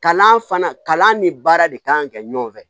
Kalan fana kalan ni baara de kan ka kɛ ɲɔgɔn fɛ